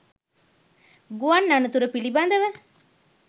ගුවන් අනතුර පිළිබඳව